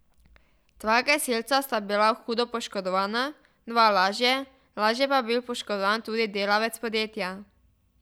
Dva gasilca sta bila hudo poškodovana, dva lažje, lažje pa je bil poškodovan tudi delavec podjetja.